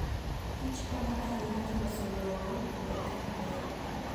Kich konyo ahinya e loso lowo obed kama ber.